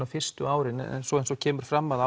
fyrstu árin en svo eins og kemur fram að